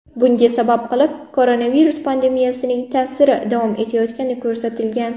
Bunga sabab qilib koronavirus pandemiyasining ta’siri davom etayotgani ko‘rsatilgan.